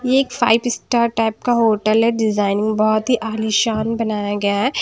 ये एक five star type का होटल है डिजाइनिंग बहुत ही आलीशान बनाया गया है।